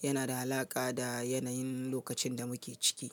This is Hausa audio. da alaƙa da yanayin lokacin da muke ciki.